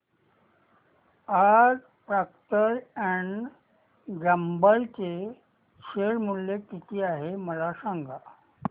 आज Procter and Gamble चे share मूल्य किती आहे मला सांगा